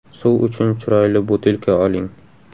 Suv uchun chiroyli butilka oling .